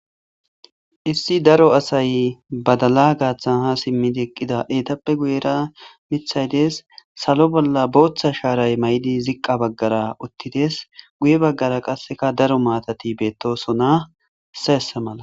issi daro asay badala gaaththan ha simmidi eqqida eetappe guyera mithay dees salo bolla booththa shaaray may7di ziqqa baggara uttides guye baggara qasseka daro maatati beettosona seesa mala